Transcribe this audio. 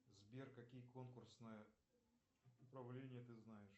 сбер какие конкурсные управления ты знаешь